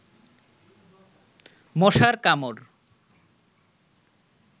মশার কামড়